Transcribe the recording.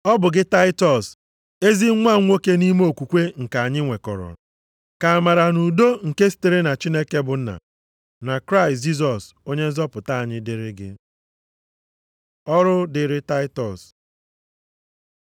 Ọ bụ gị Taịtọs, ezi nwa m nwoke nʼime okwukwe nke anyị nwekọrọ. Ka amara na udo nke sitere na Chineke bụ Nna, na Kraịst Jisọs Onye nzọpụta anyị dịrị gị. Ọrụ dịrị Taịtọs